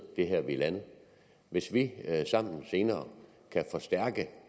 det er her vi er landet hvis vi sammen senere kan forstærke